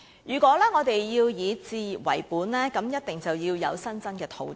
如果我們要以置業為本，便一定要有新增的土地。